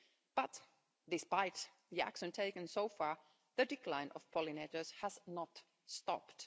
But, despite the action taken so far, the decline of pollinators has not stopped.